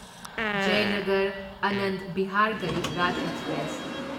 Jaynagar Anand Vihar Garib Rath express